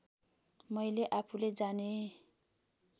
मैँले आफुले जाने